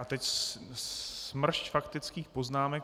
A teď smršť faktických poznámek.